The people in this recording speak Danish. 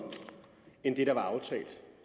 end økonomien der